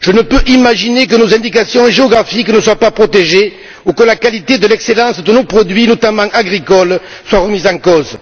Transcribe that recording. Je ne peux imaginer que nos indications géographiques ne soient pas protégées ou que la qualité et l'excellence de nos produits, notamment agricoles, soient remises en cause.